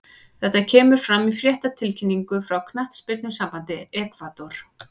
Þetta kemur fram í fréttatilkynningu frá knattspyrnusambandi Ekvador.